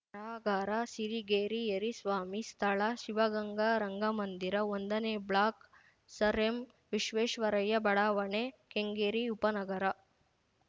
ಬರಹಗಾರ ಸಿರಿಗೇರಿ ಯರಿಸ್ವಾಮಿ ಸ್ಥಳ ಶಿವಗಂಗ ರಂಗಮಂದಿರ ಒಂದನೇ ಬ್ಲಾಕ್‌ ಸರ್‌ಎಂವಿಶ್ವೇಶ್ವರಯ್ಯ ಬಡಾವಣೆ ಕೆಂಗೇರಿ ಉಪನಗರ